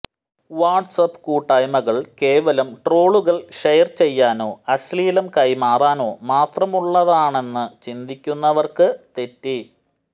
watts app കൂട്ടായ്മകൾ കേവലം ട്രോളുകൾ ഷെയർ ചെയ്യാനോ അശ്ലീലം കൈമാറാനോ മാത്രമുള്ളതാണെന്ന് ചിന്തിക്കുന്നവർക്ക് തെറ്റി